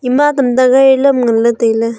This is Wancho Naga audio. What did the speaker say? ema tamta gari lam ngan ley tai ley.